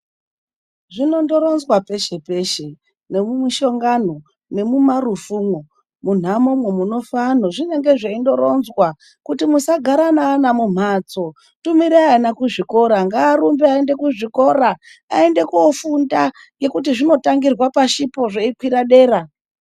Zvinondoronzwa peshe peshe nemumushongano nemumarufumwo munhamomwo munofe anhu zvinenge zveindoronzwa kuti musagare nevana mumhatso, tumirai ana kuzvikora, ngavarumbe aende kuchikora kofunda ngekuti zvinotangire pashipo zveikwire dera.